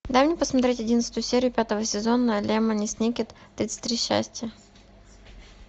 дай мне посмотреть одиннадцатую серию пятого сезона лемони сникет тридцать три счастья